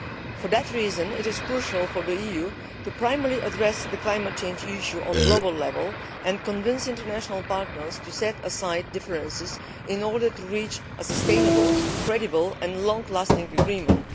For this reason it is crucial for the EU primarily to address the climate change issue at global level and convince international partners to set aside differences in order to reach a sustainable, credible and long lasting agreement.